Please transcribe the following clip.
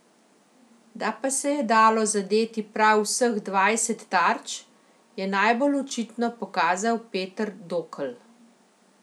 Da pa se je dalo zadeti prav vseh dvajset tarč, je najbolj očitno pokazal Peter Dokl.